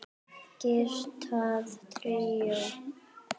Gítar tríó